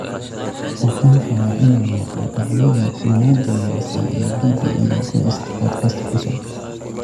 Waxaan rabaa inaan maqlo dhacdadii ugu dambeysay ee gidi iyo gost podcast cusub